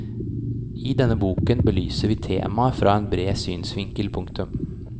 I denne boken belyser vi temaet fra en bred synsvinkel. punktum